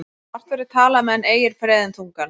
Margt verður talað meðan ei er freðin tungan.